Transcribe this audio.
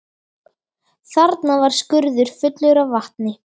Þarna var skurður fullur af vatni.